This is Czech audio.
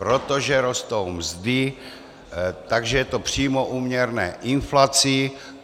Protože rostou mzdy, takže je to přímo úměrné inflaci.